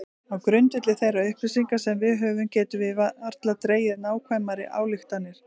Á grundvelli þeirra upplýsinga sem við höfum getum við varla dregið nákvæmari ályktanir.